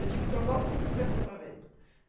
Eu tive trombose há pouco tempo, outra vez.